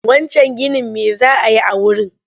Wancan ginin me za a yi a wurin?